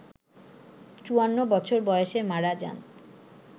৫৪ বছর বয়সে মারা যান